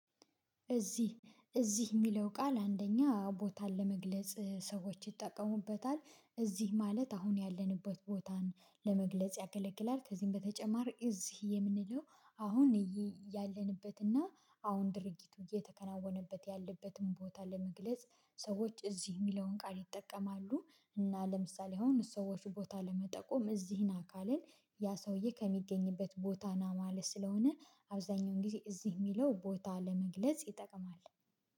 እዚህ እዚህ የሚለው ቃል አንደኛ ቦታን ለመግለጽ ሰዎች ይጠቀሙበታል እዚህ ማለት አሁን ያለንበት ቦታን ለመግለጽ ያገለግለል ከዚም በተጨማር እዚህ የምንለው አሁን ያለንበትና አሁን ድርጊቱ እየተከናወነበት ያለበትን ቦታ ለመግለጽ ሰዎች እዚህ የሚለውን ቃል ይጠቀማሉ። እና ለምሳሌ አሁን ሰዎች ቦታ ለመጠቆም እዚህን አካልን ያ ሰውዬ ከሚገኝበት ቦታ ና ማለት ስለሆነ አብዛኛውን ጊዜ እዚህ የሚለው ቦታ ለመግለጽ ይጠቅማል